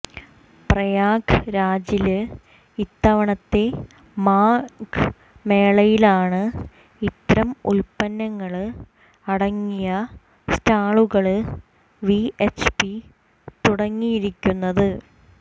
പ്രയാഗ് രാജില് ഇത്തവണത്തെ മാഘ് മേളയിലാണ് ഇത്തരം ഉത്പ്പനങ്ങള് അടങ്ങിയ സ്റ്റാളുകള് വി എച്ച് പി തുടങ്ങിയിരിക്കുന്നത്